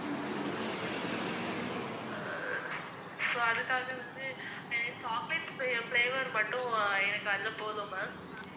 so அதுக்காக வந்து அஹ் chocolate flav~ flavour மட்டும் எனக்கு அது போதும் ma'am